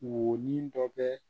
Wo ni dɔ bɛ